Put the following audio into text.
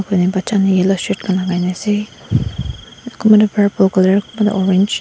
koina bacha khan yellow shirt khan lakai na ase kunba toh purple colour kunba toh orange .